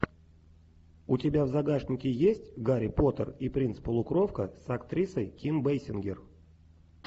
у тебя в загашнике есть гарри поттер и принц полукровка с актрисой ким бейсингер